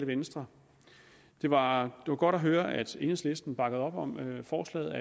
venstre det var godt at høre at enhedslisten bakkede op om forslaget